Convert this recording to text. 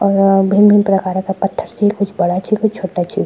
और भीन-भीन प्रकारा का पत्थर छी कुछ बड़ा छी कुछ छोटा छी।